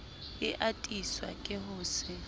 e atiswa ke ho se